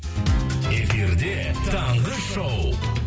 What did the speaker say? эфирде таңғы шоу